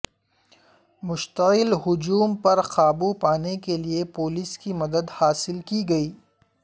مشتعل ہجوم پر قابو پانے کے لیے پولیس کی مدد حاصل کی گئی